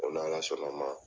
Ko n'Ala sɔnn'a ma,